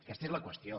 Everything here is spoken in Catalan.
aquesta és la qüestió